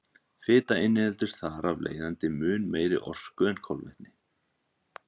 Fita inniheldur þar af leiðandi mun meiri orku en kolvetni.